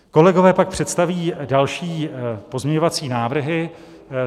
Kolegové pak představí další pozměňovací návrhy.